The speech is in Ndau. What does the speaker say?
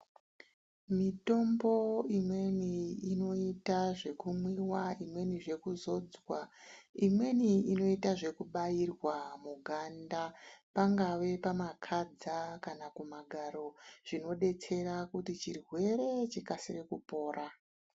Mitombo imweni inoita zvekumwiwa imweni zvekuzodzwa imweni inoita zvekubairwa muganda pangave kumakadza kana kumagaro zvinodetsera kuti chirwere chikasire kupora.